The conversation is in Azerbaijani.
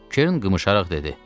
Kern qımışaraq dedi: